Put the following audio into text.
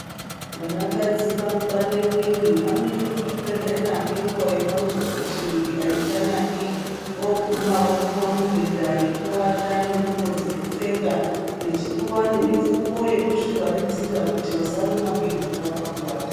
Vanakadzi vanopande mwiyiri, vanoenda kuzvibhedhlera neguwa yavanozwa kuti mwiyiri aichanaki. Voguma vopuwa mibhedha yokuata nendhlubo dzekupfeka, vechipuwa nemifuko yekuzvivharidzira kuti vasarumwa ngenhunga pakuwata.